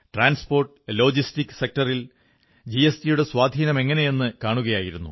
transport logistic സെക്ടറിൽ ജിഎസ്ടിയുടെ സ്വാധീനമെങ്ങനെയെന്നു കാണുകയായിരുന്നു